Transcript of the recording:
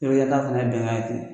fɛnɛ bɛnkan ye ten